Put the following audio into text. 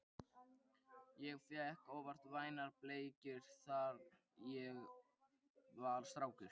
Ég fékk oft vænar bleikjur þar, þegar ég var strákur